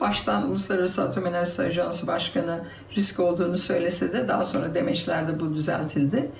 Başdan Uluslararası Atom Enerjisi Ajansı başqanı risk olduğunu söyləsə də, daha sonra deməclərdə bu düzəltildi.